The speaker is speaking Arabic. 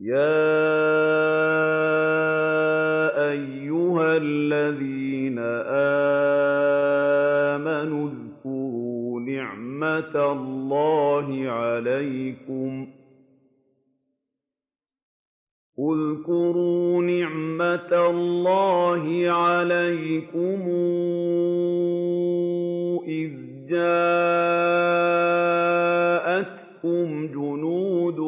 يَا أَيُّهَا الَّذِينَ آمَنُوا اذْكُرُوا نِعْمَةَ اللَّهِ عَلَيْكُمْ إِذْ جَاءَتْكُمْ جُنُودٌ